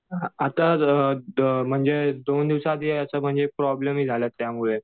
आता असं दोन दिवसा आधी प्रॉब्लेम झाला त्यामुळे